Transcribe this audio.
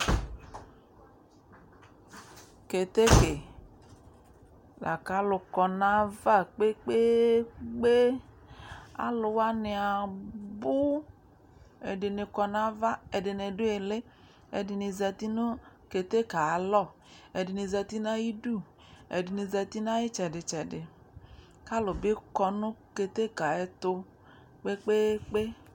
Keteke la kʋ alʋ kɔ nʋ ayava kpe-kpe-kpe, alʋ wanɩ abʋ Ɛdɩnɩ kɔ nʋ ava, ɛdɩnɩ dʋ ɩɩlɩ, ɛdɩnɩ zati nʋ keteke yɛ ayalɔ, ɛdɩnɩ zati nʋ ayidu, ɛdɩnɩ zati nʋ ayʋ ɩtsɛdɩ-tsɛdɩ kʋ alʋ bɩ kɔ nʋ keteke yɛ tʋ kpe-kpe-kpe